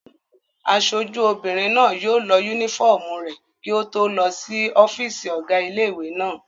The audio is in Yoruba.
Aṣojú obìnrin náà yóò lọ yúnífọ́ọ̀mù rẹ̀ kí ó tó lọ sí ọ́fìsì ọ̀gá ilé-ìwé náà